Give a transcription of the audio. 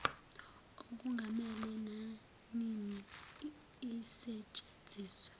okungamele nanini isetshenziswe